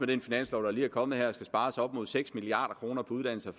den finanslov der lige er kommet her skal spares op imod seks milliard kroner på uddannelse og